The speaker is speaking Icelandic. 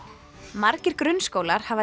margir grunnskólar hafa